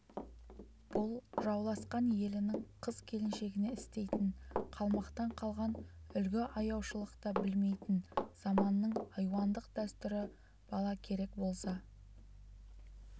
бұл жауласқан елінің қыз-келіншегіне істейтін қалмақтан қалған үлгі аяушылықты білмейтін заманның айуандық дәстүрі бала керек болса